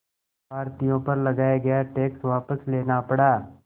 भारतीयों पर लगाया गया टैक्स वापस लेना पड़ा